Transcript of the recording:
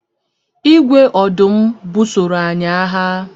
Igwe ọdụm busoro anyị agha.